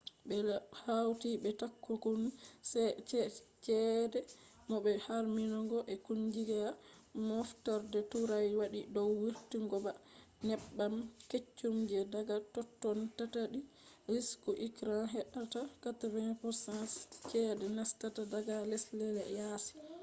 ɓe hawti be takunkumi ceede bo be harmingo je kungiya moftorde turai waɗi dow wurtingobba neebbam keccum je daga totton tattali risku iran heɓɓata 80% ceede nastata daga lesɗe yaasi